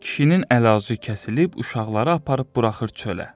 Kişinin əlacı kəsilib uşaqları aparıb buraxır çölə.